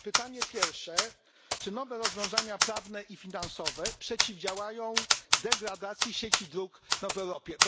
Pytanie pierwsze czy nowe rozwiązania prawne i finansowe przeciwdziałają degradacji sieci dróg w Europie?